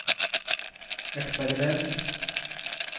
eksperiment